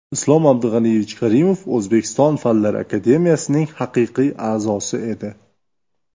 Islom Abdug‘aniyevich Karimov O‘zbekiston Fanlar akademiyasining haqiqiy a’zosi edi.